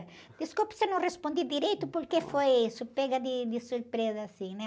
Desculpa se eu não respondi direito, porque foi isso, pega de, de surpresa assim, né?